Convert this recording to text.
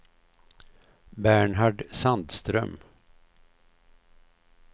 Bernhard Sandström